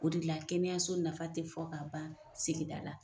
O de la kɛnɛyaso nafa tɛ fɔ ka ban sigida la .